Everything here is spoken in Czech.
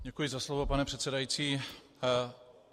Děkuji za slovo, pane předsedající.